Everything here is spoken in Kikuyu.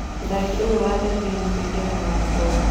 Mũthaki ũyũ wa Thibĩin e-kũingĩra na ngombo.